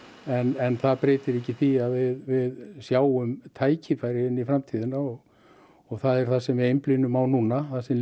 en það breytir ekki því að við sjáum tækifæri inn í framtíðina og og það er það sem við einblínum á núna það sem